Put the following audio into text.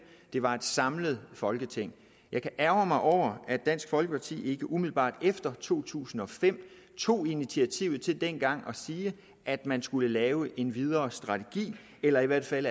det var et samlet folketing jeg kan ærgre mig over at dansk folkeparti ikke umiddelbart efter to tusind og fem tog initiativet til dengang at sige at man skulle lave en videre strategi eller i hvert fald